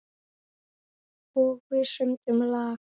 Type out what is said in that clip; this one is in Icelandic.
Og við sömdum lag.